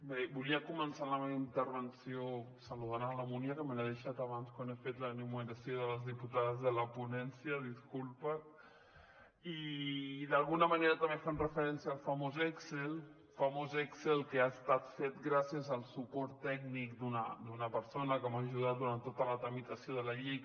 bé volia començar la meva intervenció saludant la munia que me l’he deixat abans quan he fet l’enumeració de les diputades de la ponència disculpa i d’alguna manera també fent referència al famós excel famós excel que ha estat fet gràcies al suport tècnic d’una persona que m’ha ajudat durant tota la tramitació de la llei